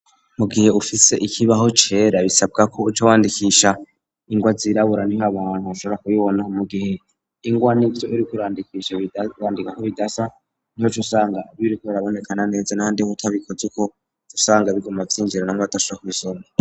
Mu gihe ufise ikibaho cera bisabwa ko uca wandikisha ingwa zirabura niho abantu bashobora kubibona mu gihe ingwa n'ivyo uri kwandika bidasa niho uca usanga biriko birabonekana na neza n'ahandi ho utabikoze uko uca usanga biguma vy'injiranamwo batashobora kubisoma.